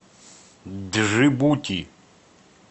джибути